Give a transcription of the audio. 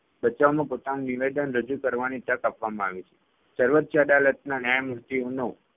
બચાવમાં પોતાનું નિવેદન રજુ કરવાની તક આપવામાં આવી છે. સર્વોચ્ય અદાલતના ન્યાયમૂર્તિઓનો